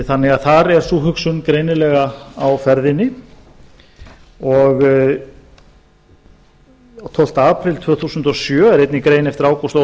þannig að þar er sú hugsun greinilega á ferðinni og tólfta apríl tvö þúsund og sjö er einnig grein eftir ágúst